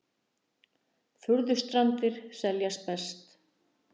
Furðustrandir seljast best